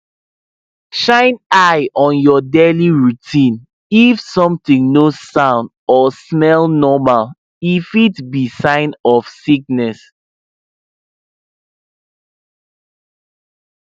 sick fowl were dey ghost check on am e fit just dey one corner or no dey chop.